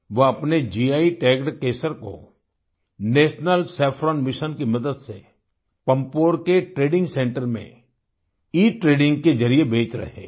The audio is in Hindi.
वह अपने गी टैग्ड केसर को नेशनल सैफ्रॉन मिशन की मदद से पम्पोर के ट्रेडिंग सेंटर में इट्रेडिंग के जरिए बेच रहे हैं